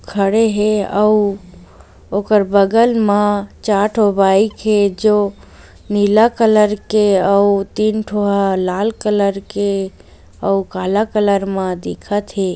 खड़े हे अऊ ओकर बगल म चार ठो बाइक हे जो नीला कलर के अऊ तीन ठो ह लाल कलर के अऊ काला कलर म दिखत हे।